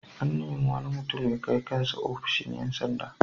An nemi wani mutum ya kai kan sa ofishin ƴan sanda.